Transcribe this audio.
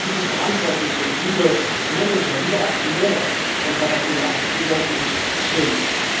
Und, liebe Verantwortliche, liebe Manager, liebe Aktionäre von Caterpillar Sie sollten sich schämen!